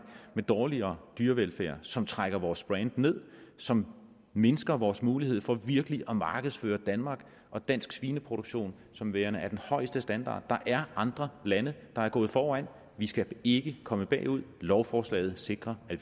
med dårligere dyrevelfærd som trækker vores brand ned som mindsker vores mulighed for virkelig at markedsføre danmark og dansk svineproduktion som værende af den højeste standard der er andre lande der er gået foran vi skal ikke komme bagud lovforslaget sikrer at